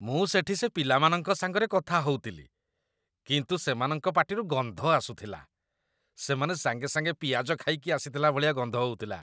ମୁଁ ସେଠି ସେ ପିଲାମାନଙ୍କ ସାଙ୍ଗରେ କଥା ହଉଥିଲି, କିନ୍ତୁ ସେମାନଙ୍କ ପାଟିରୁ ଗନ୍ଧ ଆସୁଥିଲା । ସେମାନେ ସାଙ୍ଗେ ସାଙ୍ଗେ ପିଆଜ ଖାଇକି ଆସିଥିଲା ଭଳିଆ ଗନ୍ଧ ହଉଥିଲା ।